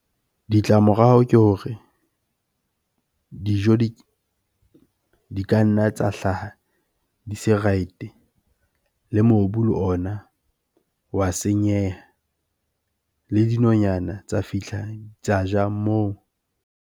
Ditlamorao ke hore dijo di ka nna tsa hlaha di se right-e. Le mobu le ona wa senyeha, le dinonyana tsa fihla tsa ja moo.